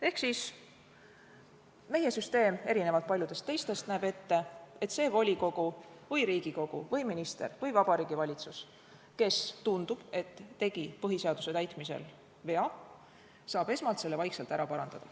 Ehk siis meie süsteem, erinevalt paljudest teistest, näeb ette, et see volikogu või Riigikogu või minister või Vabariigi Valitsus, kes, tundub, et tegi põhiseaduse täitmisel vea, saab esmalt selle vaikselt ära parandada.